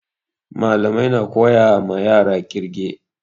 Malamai na koya ma yara ƙirge